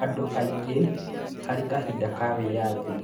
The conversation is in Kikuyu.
Andũ aingĩ harĩ kahinda ka wĩyathi